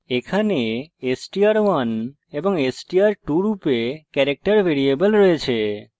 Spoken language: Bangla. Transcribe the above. এখানে str1এবং str2 রূপে ক্যারেক্টার ভেরিয়েবল রয়েছে